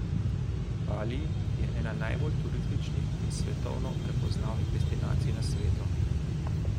Bali je ena najbolj turističnih in svetovno prepoznavnih destinacij na svetu.